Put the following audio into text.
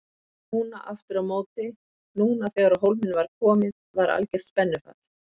Núna aftur á móti, núna þegar á hólminn var komið var algert spennufall.